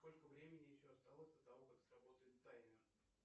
сколько времени еще осталось до того как сработает таймер